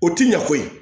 O ti ɲa koyi